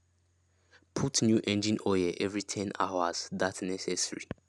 put new engine oil every ten hours that necessary